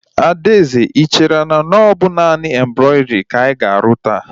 Adaeze, I chere na ọ bụ naanị embrọidrii ka anyị ga-arụ taa?